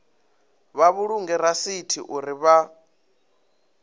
vha vhulunge rasithi uri vha